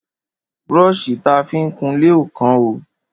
Brọ́ṣì ta fi ń kunlé ò kán o.